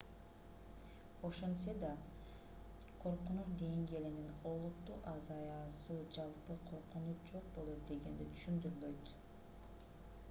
ошентсе да коркунуч деңгээлинин олуттуу азаюусу жалпы коркунуч жок болот дегенди түшүндүрбөйт